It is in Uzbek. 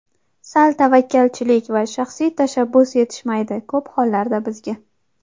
Sal tavakkalchilik va shaxsiy tashabbus yetishmaydi ko‘p hollarda bizga.